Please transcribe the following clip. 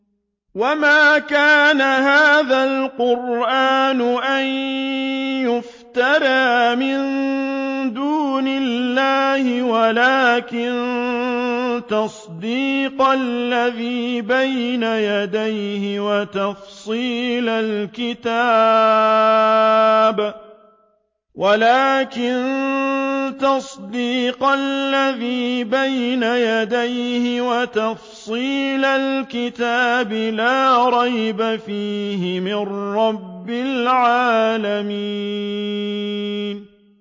وَمَا كَانَ هَٰذَا الْقُرْآنُ أَن يُفْتَرَىٰ مِن دُونِ اللَّهِ وَلَٰكِن تَصْدِيقَ الَّذِي بَيْنَ يَدَيْهِ وَتَفْصِيلَ الْكِتَابِ لَا رَيْبَ فِيهِ مِن رَّبِّ الْعَالَمِينَ